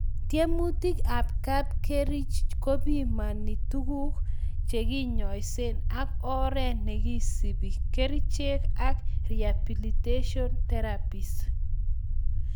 Tyemutik ab kapkerich kopimani tuguk chekiyengsen ak oret nekisubi, kerichek ak rehabilitation therapies